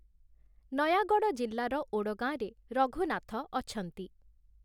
ନୟାଗଡ଼଼ ଜିଲ୍ଲାର ଓଡ଼ଗାଁରେ ରଘୁନାଥ ଅଛନ୍ତି ।